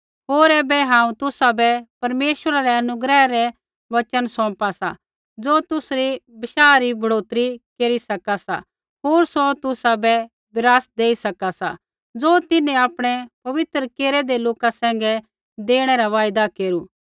होर ऐबै हांऊँ तुसाबै परमेश्वरै रै अनुग्रह रै वचन सौंपा सा ज़ो तुसरी विश्वसा री बढ़ौतरी केरी सका सा होर सौ तुसाबै विरासत देई सका सा ज़ो तिन्हैं आपणै पवित्र केरेदै लोका सैंघै देणै रा वायदा केरू